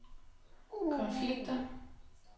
konflikter